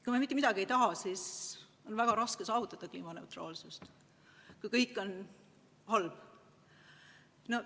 Kui me mitte midagi ei taha, siis on väga raske saavutada kliimaneutraalsust – kõik on justkui halb.